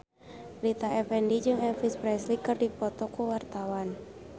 Rita Effendy jeung Elvis Presley keur dipoto ku wartawan